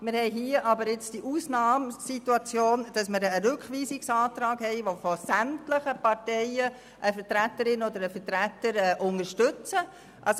Wir haben hier jetzt aber die Ausnahmesituation, dass wir einen Rückweisungsantrag haben, den von sämtlichen Parteien durch eine Vertreterin oder einen Vertreter unterstützt wird.